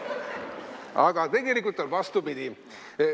Aga tegelikult on vastupidi.